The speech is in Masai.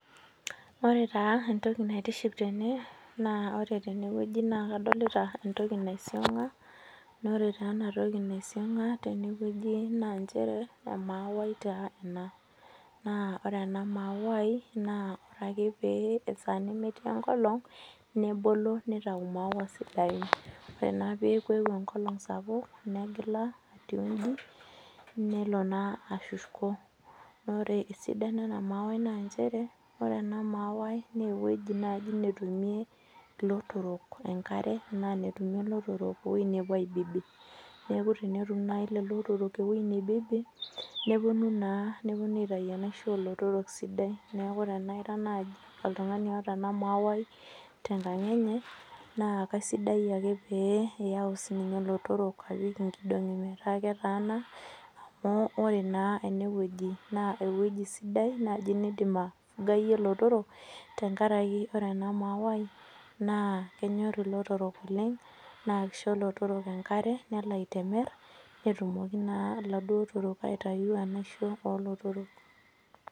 Ore taa entoki naitiship tene naa ore naa kadolita entoki naisionga naa ore entoki naisionga tenewueji naa emauti ena naa ore ena maui ore ake esaa nemetii enkolog nebolo nitau maua sidain ore naa peeku euo enkolog sapuk engila atii eji nelo ashuko naa ore esidano ane mauai naa ore ewueji netumie elotorok enkare arashu ewueji netumie elotorok nepuo aibibi neeku tenetum naaji leleo otorok ewueji nibibi nepuonu atau enaishoo oolotorok sidai neeku teniraa naaji oltung'ani otaa ena mauai tenkang enye naa kaisidai tenitau elotorok apik enkidongii metaa ketaana amu ore naa enewueji naa ewueji sidai nidim ategayie elotorok tenkaraki ore en mauai naa kenyor elotorok oleng naa kisho ilotorok enkare nelo aitemer netumoki naaduo eladuo otorok aitau enaishoo oo lotorok